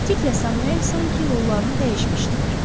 Diklə Samuel sanki rollarını dəyişmişdilər.